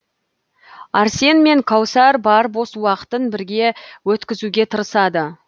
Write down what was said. арсен мен кәусар бар бос уақытын бірге өткізуге тырысады